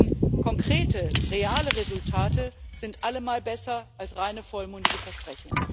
Denn konkrete, reale Resultate sind allemal besser als reine vollmundige Versprechungen.